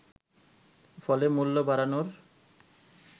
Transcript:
ফলে মূল্য বাড়ানোর